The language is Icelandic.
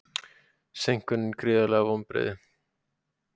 Seinkunin gríðarleg vonbrigði